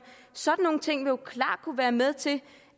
sådan nogle ting vil jo klart kunne være med til